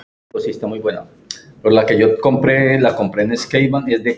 Hvað á maður að halda?